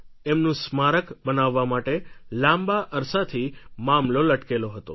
એમનુ સ્મારક બનાવવા માટે લાંબા અરસાથી મામલો લટકેલો હતો